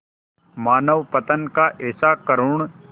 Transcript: मानवपतन का ऐसा करुण